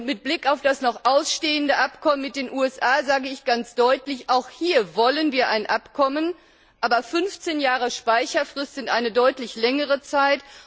Mit Blick auf das noch ausstehende Abkommen mit den USA sage ich ganz deutlich Auch hier wollen wir ein Abkommen, aber 15 Jahre Speicherfrist sind eine deutlich längere Zeit.